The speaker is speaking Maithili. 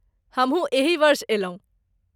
हमहू एही वर्ष अयलहुँ।